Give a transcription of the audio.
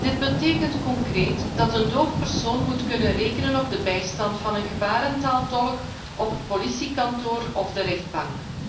Dit betekent concreet dat een dove persoon moet kunnen rekenen op de bijstand van een gebarentaaltolk op het politiebureau of de rechtbank.